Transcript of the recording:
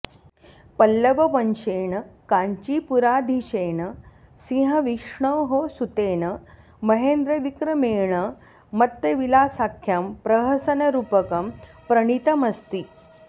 पल्लववंश्येन काञ्चीपुराधीशेन सिंहविष्णोः सुतेन महेन्द्रविक्रमेण मत्तविलासाख्यं प्रहसनरूपकं प्रणीतमस्ति